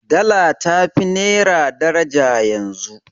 Dala ta fi naira daraja yanzu.